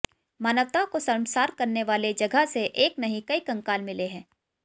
मानवता को शर्मसार करने वाले जगह से एक नहीं कई कंकाल मिले हैं